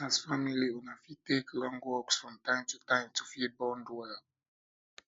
as family una fit take long walks from time to time to fit bond well